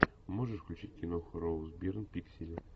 можешь включить киноху роуз бирн пиксели